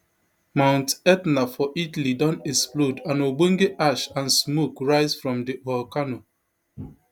mount etna for italy don explode and ogbonge ash and smoke rise from di volcano